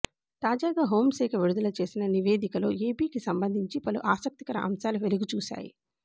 తాజాగా హోంశాఖ విడుదల చేసిన నివేదికలో ఏపీకి సంబంధించి పలు ఆసక్తికర అంశాలు వెలుగుచూశాయి